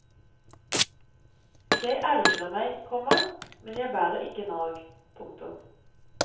Jeg ergrer meg, komma men jeg bærer ikke nag. punktum